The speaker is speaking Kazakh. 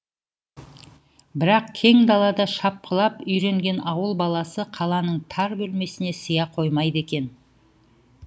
бірақ кең далада шапқылап үйренген ауыл баласы қаланың тар бөлмесіне сыя қоймайды екен